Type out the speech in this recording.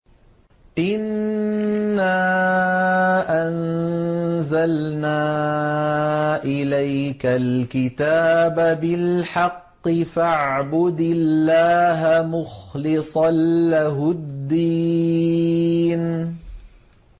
إِنَّا أَنزَلْنَا إِلَيْكَ الْكِتَابَ بِالْحَقِّ فَاعْبُدِ اللَّهَ مُخْلِصًا لَّهُ الدِّينَ